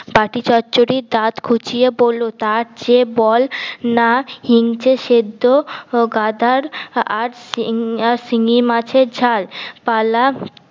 বাটি চচ্চড়ি দাঁত খুঁচিয়ে বলল তার চেয়ে বল না হিংচে সেদ্ধ গাদার আর শিঙি মাছের ঝাল পালা